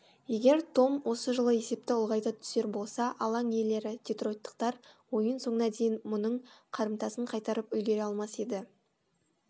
егер том осы жолы есепті ұлғайта түсер болса алаң иелері детройттықтар ойын соңына дейін мұның қарымтасын қайтарып үлгере алмас еді